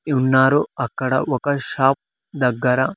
ఉన్నారు అక్కడ ఒక షాప్ దగ్గర.